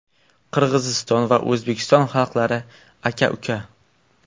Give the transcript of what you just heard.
Qirg‘iziston va O‘zbekiston xalqlari aka-uka.